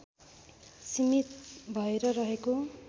सीमित भएर रहेको